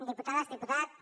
diputades diputats